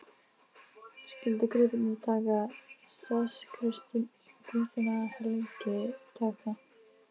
Skyldu gripirnir taka sess kristinna helgitákna.